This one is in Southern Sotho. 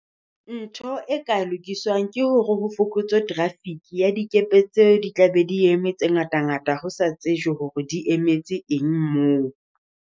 Ntho e ka lokiswang ke hore ho fokotswe traffic, ya dikepe tseo di tla be di eme tse ngata ngata, ho sa tsejwe hore di emetse eng moo.